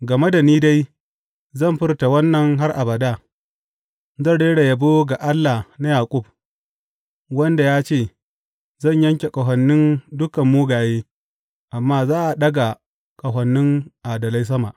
Game da ni dai, zan furta wannan har abada; zan rera yabo ga Allah na Yaƙub, wanda ya ce, Zan yanke ƙahonin dukan mugaye, amma za a ɗaga ƙahonin adalai sama.